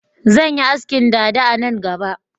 Zan yi askin dada a nan gaba